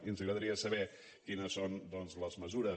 i ens agradaria saber quines són les mesures